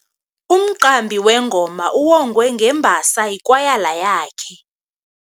Umqambi wengoma uwongwe ngembasa yikwayala yakhe.